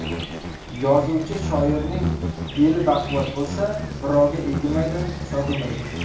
Yozuvchi shoirning beli baquvvat bo‘lsa, birovga egilmaydi, sotilmaydi .